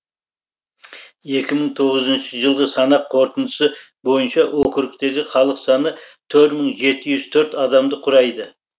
екі мың тоғызыншы жылғы санақ қорытындысы бойынша округтегі халық саны төрт мың жеті жүз төрт адамды құрайды